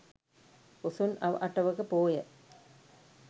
පොසොන් අව අටවක පෝය